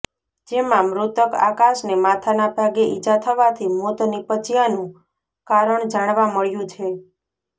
જેમાં મૃતક આકાશને માથાના ભાગે ઈજા થવાથી મોત નિપજયાનું કારણ જાણવા મળ્યું છે